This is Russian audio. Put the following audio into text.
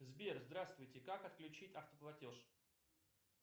сбер здравствуйте как отключить автоплатеж